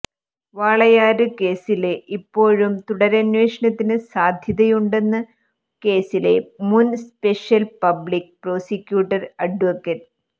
വാളയാര് കേസില് ഇപ്പോഴും തുടരന്വേഷണത്തിന് സാധ്യതയുണ്ടെന്ന് കേസിലെ മുന് സ്പെഷ്യല് പബ്ലിക് പ്രോസിക്യൂട്ടര് അഡ്വ